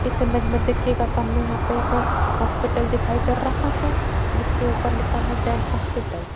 इस इमेज में देखियेगा सामने यहां पर एक हॉस्पिटल दिखाई दे रहा है जिसके ऊपर लिखा है जैन हॉस्पिटल --